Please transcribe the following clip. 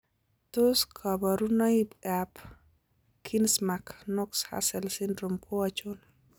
Tos kabarunoim ab Konigsmark Knox Hussels syndrome ko achon?